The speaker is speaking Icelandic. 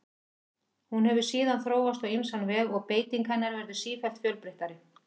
Hún hefur síðan þróast á ýmsan veg og beiting hennar verður sífellt fjölbreyttari.